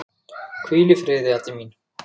Hvíl í friði, Addý mín.